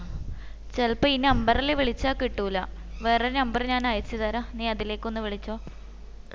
ചിലപ്പോ ഈ number ഇൽ വിളിച്ച കിട്ടൂല ഞാൻ വേറെ ഒരു number ഞാൻ അയച് തരാ നീ അതിലേക്ക് ഒന്ന് വിളിക്കോ